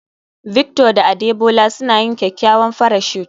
Victor da Adebola suna yin kyakkyawan parachute